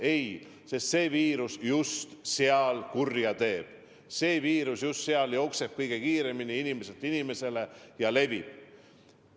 Ei ole, sest see viirus just seal kurja teeb, see viirus just seal jookseb kõige kiiremini inimeselt inimesele ja levib.